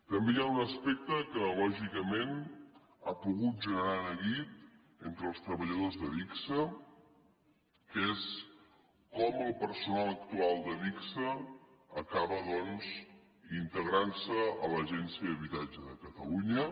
també hi ha un aspecte que lògicament ha pogut generar neguit entre els treballadors d’adigsa que és com el personal actual d’adigsa acaba doncs integrant se a l’agència de l’habitatge de catalunya